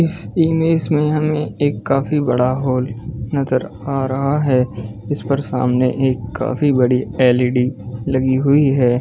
इस इमेज में हमें एक काफी बड़ा हॉल नजर आ रहा है इस पर सामने एक काफी बड़ी एल_इ_डी लगी हुई हैं ।